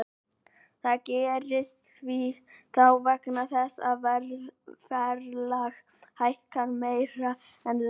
Það gerist þá vegna þess að verðlag hækkar meira en laun.